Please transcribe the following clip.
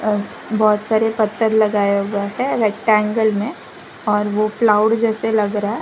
बहोत सारे पत्थर लगाया हुआ है रेक्टेंगल में और वह क्लाउड जैसे लग रहा है।